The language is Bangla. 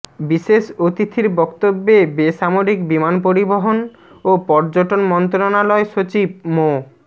বিশেষ অতিথির বক্তব্যে বেসামরিক বিমান পরিবহন ও পর্যটন মন্ত্রণালয় সচিব মো